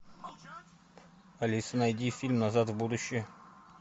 алиса найди фильм назад в будущее